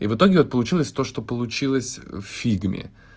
и в итоге вот получилось то что получилось в фигме